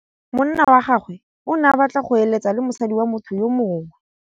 Monna wa gagwe o ne a batla go êlêtsa le mosadi wa motho yo mongwe.